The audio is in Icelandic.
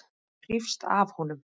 Maður hrífst af honum.